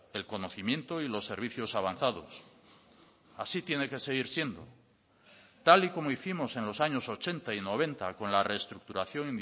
el conocimiento y los servicios avanzados así tiene que seguir siendo tal y como hicimos en los años ochenta y noventa con la reestructuración